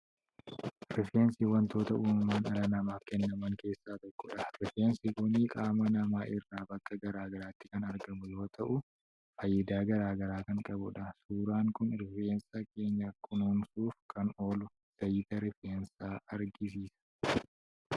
Rifeensi waantoota uumaman dhala namaaf kennaman keessaa tokkodha. Rifeensi kunis qaama namaa irraa bakka gara garaatti kan argamu yoo ta’u faayidaa garaa kan qabudha. Suuraan kun rifeensa keenya kunuunsuuf kan oolu zayita rifeensaa argisiisa.